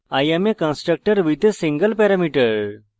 i am a constructor with a single parameter